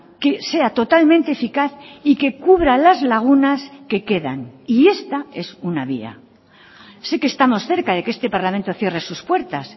que sea totalmente eficaz y que cubra las lagunas que quedan y esta es una vía sí que estamos cerca de que este parlamento cierre sus puertas